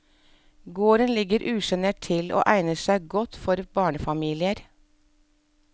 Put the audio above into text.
Gården ligger usjenert til og egner seg godt for barnefamilier.